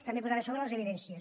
també posar a sobre les evidències